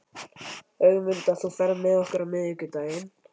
Ögmunda, ferð þú með okkur á miðvikudaginn?